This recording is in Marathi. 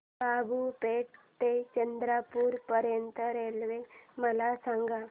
बाबूपेठ ते चंद्रपूर पर्यंत रेल्वे मला सांगा